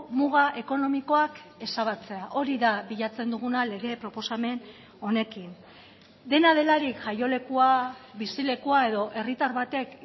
muga ekonomikoak ezabatzea hori da bilatzen duguna lege proposamen honekin dena delarik jaiolekua bizilekua edo herritar batek